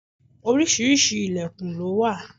Oríṣiríṣi ìlẹ̀kùn lo wà.